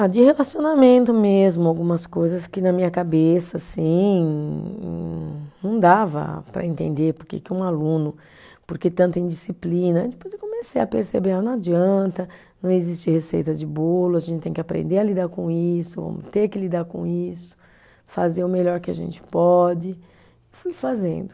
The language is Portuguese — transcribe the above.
Ah, de relacionamento mesmo, algumas coisas que na minha cabeça, assim, não dava para entender porque que um aluno, porque tanta indisciplina, aí depois eu comecei a perceber, ah, não adianta, não existe receita de bolo, a gente tem que aprender a lidar com isso, ter que lidar com isso, fazer o melhor que a gente pode, fui fazendo.